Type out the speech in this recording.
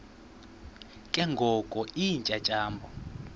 ke ngoko iintyatyambo